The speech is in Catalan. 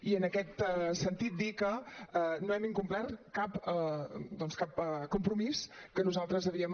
i en aquest sentit dir que no hem incomplert doncs cap compromís que nosaltres havíem